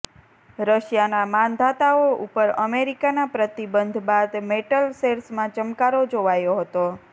રશિયાના માંધાતાઓ ઉપર અમેરિકાના પ્રતિબંધ બાદ મેટલ શેર્સમાં ચમકારો જોવાયો હતો